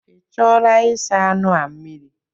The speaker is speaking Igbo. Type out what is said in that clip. Ị chọọla ịsa anụ a mmiri?